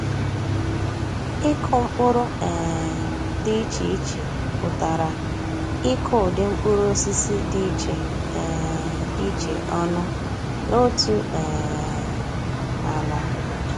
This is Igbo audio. Ịkụ mkpụrụ um dị iche iche pụtara ịkụ ụdị mkpụrụosisi dị iche um iche ọnụ n’otu um ala.